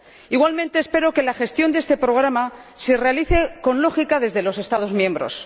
Igualmente espero que la gestión de este programa se realice con lógica desde los Estados miembros.